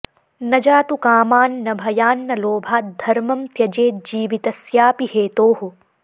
न जातु कामान्न भयान्न लोभाद् धर्मं त्यजेज्जीवितस्यापि हेतोः